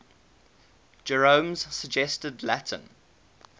jerome's suggested latin